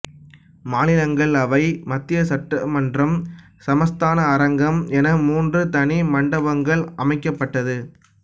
மாநிலங்கள் அவை மத்திய சட்டமன்றம் சமஸ்தான அரங்கம் என மூன்று தனி மண்டபங்கள் அமைக்கப்பட்டது